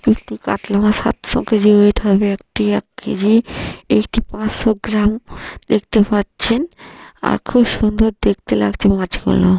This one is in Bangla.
একটি কাতলা মাছ সাতশো কে.জি ওয়েট হবে একটি এক কে.জি একটি পাঁচশো গ্রাম দেখতে পাচ্ছেন। আর খুব সুন্দর দেখতে লাগছে মাছগুলো।